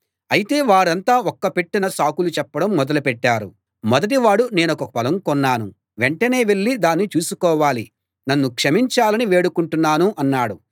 అయితే వారంతా ఒక్కపెట్టున సాకులు చెప్పడం మొదలు పెట్టారు మొదటివాడు నేనొక పొలం కొన్నాను వెంటనే వెళ్ళి దాన్ని చూసుకోవాలి నన్ను క్షమించాలని వేడుకుంటున్నాను అన్నాడు